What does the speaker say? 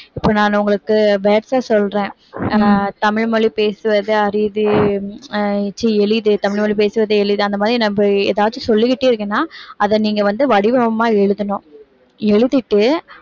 இப்ப நான் உங்களுக்கு words அ சொல்றேன் ஆஹ் தமிழ் மொழி பேசுவது அரிது ஆஹ் ச்சீ எளிது தமிழ் மொழி பேசுவது எளிது அந்த மாதிரி ஏதாச்சும் சொல்லிக்கிட்டே இருக்கேன்னா அதை நீங்க வந்து வடிவமா எழுதணும் எழுதிட்டு